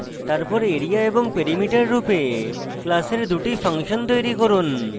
তারপর area এবং perimeter রূপে class দুটি ফাংশন তৈরী করুন